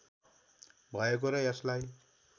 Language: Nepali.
भएको र यसलाई